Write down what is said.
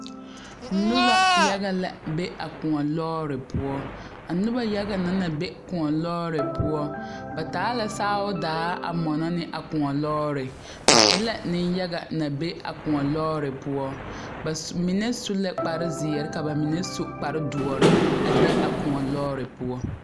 Noba yaga la be a koɔ lɔɔre poɔ a noba yaga na naŋ be koɔ lɔɔre poɔ ba taa la saao daa a mɔnɔ ne a koɔ lɔɔre ba e la nenyaga naŋ be a koɔ lɔɔre poɔ ba mine su la kparezeere ka ba mine su kparedoɔre a be a koɔ lɔɔre poɔ.